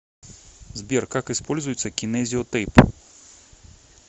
сбер как используется кинезио тейп